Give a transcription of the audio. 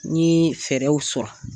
N ye fɛɛrɛw sɔrɔ